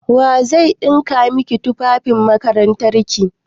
Waye zai ɗinka maki tufafin makarantarki?